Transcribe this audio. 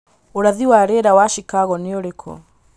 ūrathi wa ūhoro rīera wa chicago nī urīkū